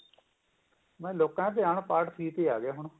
ਲੋਕਾਂ ਦਾ ਧਿਆਨ part three ਤੇ ਆਗਿਆ ਹੁਣ